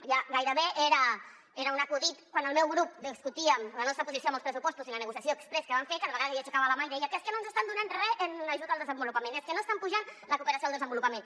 ja gairebé era un acudit quan al meu grup discutíem la nostra posició en els pressupostos i la negociació exprés que van fer cada vegada que jo aixecava la mà i deia és que no ens estan donant re en ajut al desenvolupament és que no estan apujant la cooperació al desenvolupament